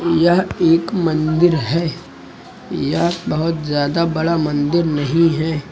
यह एक मंदिर है यह बहोत ज्यादा बड़ा मंदिर नहीं है।